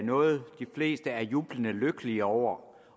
noget de fleste er jublende lykkelige over